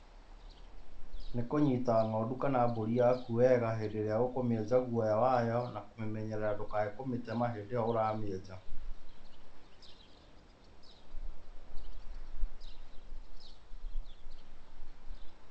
Nĩ kũnyita ng'ondu kana mbũri yaku wega, hĩndĩ ĩrĩa ũkũmĩenja guoya wayo, na na kũmĩnyerera ndũkae kũmĩtema hĩndĩ ĩyo ũramĩenja.